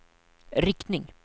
riktning